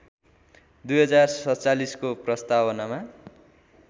२०४७ को प्रस्तावनामा